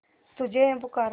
तुझे है पुकारा